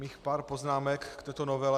Mám pár poznámek k této novele.